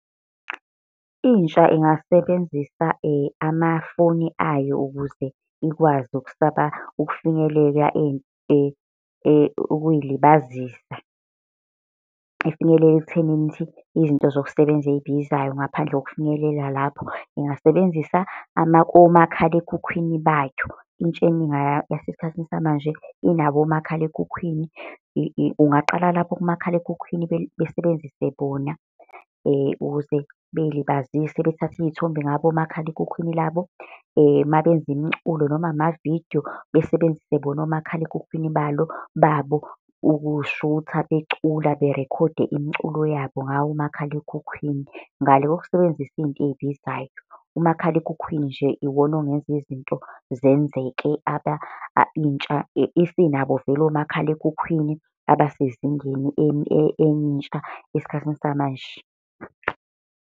Intsha ingasebenzisa amafoni ayo ukuze ikwazi ukufinyelela ukuy'libazisa. Efinyelela ekuthenini ukuthi izinto zokusebenza ey'bizayo ngaphandle kokufinyelela lapho, ngingasebenzisa omakhalekhukhwini bayo. Intsha eningi yasesikhathini samanje inabo omakhalekhukhwini. Ungaqala lapho kumakhalekhukhwini besebenzise bona ukuze bey'libazise, bethathe iy'thombe ngabo omakhalekhukhwini labo mabenza imiculo noma amavidiyo besebenzisa bona omakhalekhukhwini babo ukuy'shutha becula berekhode imiculo yabo ngawo umakhalalekhukhwini. Ngale kokusebenzisa iy'nto ey'bizayo, umakhalekhukhwini nje iwona ongenza izinto zenzeke. Intsha isinabo vele omakhalekhukhwini abasezingeni enye intsha esikhathini samanje.